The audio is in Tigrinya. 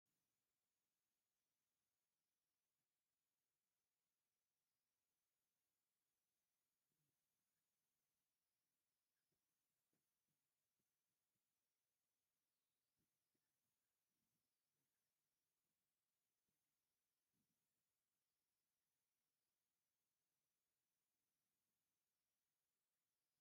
እዚ ፅሑፍ ወለድና ዝገደፉልና ሓድጊ እዩ፡፡ ናይዚ ፅሑፍ ሚስጥር ንምፍላጥ ብዘይምኽኣልና ናይ ወፃእተኛታት ልበ ወለድ ተቐበልቲ ኮይንና፡፡ ታሪክና ብባእዳን ተገልቢጡ እንትንገረና ኣየሕዝንን?